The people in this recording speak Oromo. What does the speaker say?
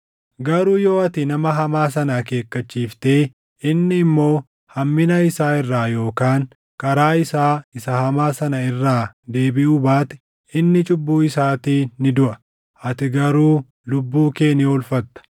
Garuu yoo ati nama hamaa sana akeekkachiiftee inni immoo hammina isaa irraa yookaan karaa isaa isa hamaa sana irraa deebiʼuu baate, inni cubbuu isaatiin ni duʼa; ati garuu lubbuu kee ni oolfatta.